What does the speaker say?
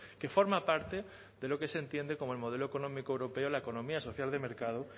que forma parte de lo que se entiende como el modelo económico europeo la economía social de mercado